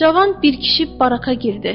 Cavan bir kişi baraka girdi.